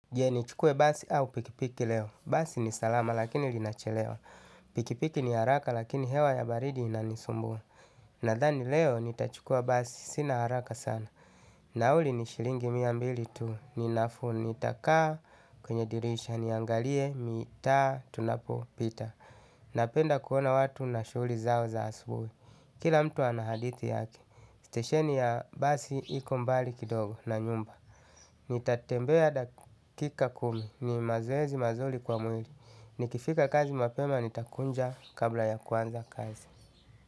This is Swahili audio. Je ni chukue basi au pikipiki leo. Basi ni salama lakini linachelewa. Pikipiki ni haraka lakini hewa ya baridi inanisumbua. Nadhani leo ni tachukua basi sina haraka sana. Nauli ni shilingi miambili tuu. Ninafu ni takaa kwenye dirisha niangalie mita tunapo pita. Napenda kuona watu na shuli zao za asubuhi. Kila mtu anahadithi yake. Stesheni ya basi hiko mbali kidogo na nyumba. Nitatembea dakika kumi ni mazoezi mazuli kwa mwili. Nikifika kazi mapema nitakunja kabla ya kuanza kazi.